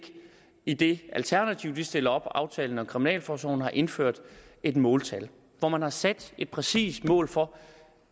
i det alternativ de stiller op nemlig aftalen om kriminalforsorgen har indført et måltal hvor man har sat et præcist mål for